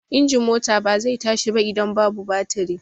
Injin mota ba zai tashi ba idan babu batiri.